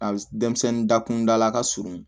A denmisɛnnin dakundala ka surun